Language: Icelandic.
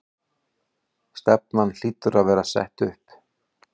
Stefnan hlýtur að vera sett upp?